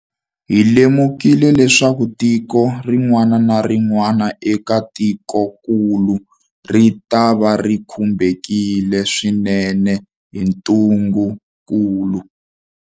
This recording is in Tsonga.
Hi lemukile leswaku tiko rin'wana na rin'wana eka tikokulu ritava ri khumbiwile swinene hi ntungukulu.